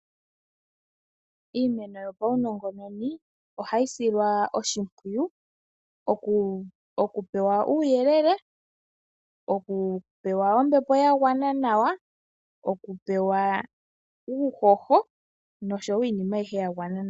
Iimeno yopaunongononi ohayi silwa oshimpwiyu, oku pewa uuyelele. Oku pewa ombepo ya gwana nawa. Oku pewa uuhoho noshowo iinima ayihe ya gwana nawa.